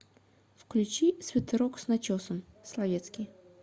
включи свитерок с начесом словетский